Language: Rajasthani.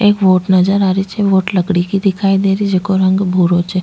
एक बोट नजर आ रही छे बोट लकड़ी की दिखाई देरही जेको रंग भूरो छे।